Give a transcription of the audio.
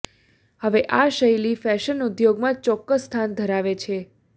હવે આ શૈલી ફેશન ઉદ્યોગમાં ચોક્કસ સ્થાન ધરાવે છે